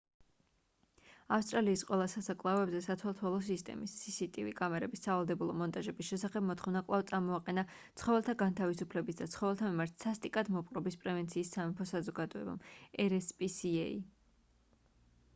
ავსტრალიის ყველა სასაკლაოებზე სათვალთვალო სისტემის cctv კამერების სავალდებულო მონტაჟების შესახებ მოთხოვნა კვლავ წამოაყენა ცხოველთა განთავისუფლების და ცხოველთა მიმართ სასტიკად მოპყრობის პრევენციის სამეფო საზოგადოებამ rspca